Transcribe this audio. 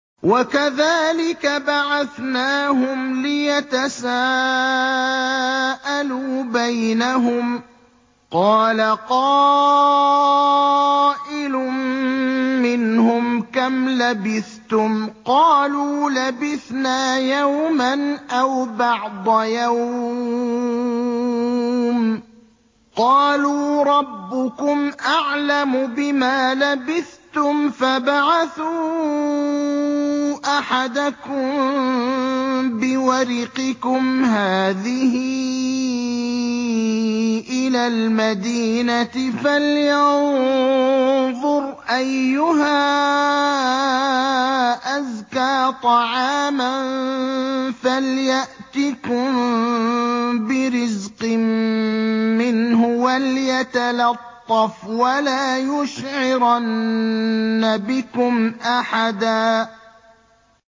وَكَذَٰلِكَ بَعَثْنَاهُمْ لِيَتَسَاءَلُوا بَيْنَهُمْ ۚ قَالَ قَائِلٌ مِّنْهُمْ كَمْ لَبِثْتُمْ ۖ قَالُوا لَبِثْنَا يَوْمًا أَوْ بَعْضَ يَوْمٍ ۚ قَالُوا رَبُّكُمْ أَعْلَمُ بِمَا لَبِثْتُمْ فَابْعَثُوا أَحَدَكُم بِوَرِقِكُمْ هَٰذِهِ إِلَى الْمَدِينَةِ فَلْيَنظُرْ أَيُّهَا أَزْكَىٰ طَعَامًا فَلْيَأْتِكُم بِرِزْقٍ مِّنْهُ وَلْيَتَلَطَّفْ وَلَا يُشْعِرَنَّ بِكُمْ أَحَدًا